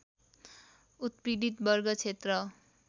उत्पीडित वर्ग क्षेत्र